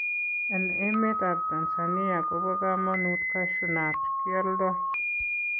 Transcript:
En emetabTansania kobo komonut Cashew nut, kioldo.